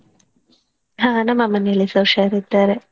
ಹಾ ನಮ್ಮ ಮನೆಯಲ್ಲಿಸ ಹುಷಾರಿದ್ದಾರೆ.